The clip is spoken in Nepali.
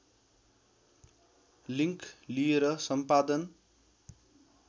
लिङ्क लिएर सम्पादन